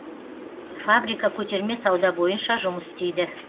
фабрика көтерме сауда бойынша жұмыс істейді